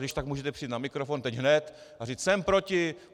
Když tak můžete přijít na mikrofon, teď hned a říct: Jsem proti!